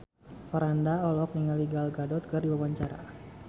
Franda olohok ningali Gal Gadot keur diwawancara